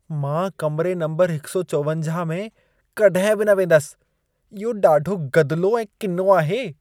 मां कमिरे नंबर 154 में कॾहिं बि न वेंदसि। इहो ॾाढो गदिलो ऐं किनो आहे।